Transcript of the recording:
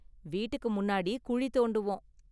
வீட்டுக்கு முன்னாடி குழி தோண்டுவோம்.